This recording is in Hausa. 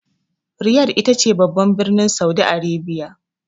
Riyadh ita ce babban birnin Saudi Arabia.